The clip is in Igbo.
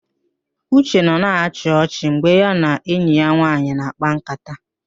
Uche nọ na-achị achị mgbe ya na enyi ya nwaanyị na-àkpá ńkátá